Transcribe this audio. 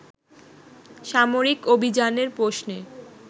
সামরিক অভিযানের প্রশ্নে